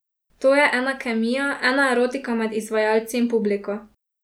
To je ena kemija, ena erotika med izvajalci in publiko.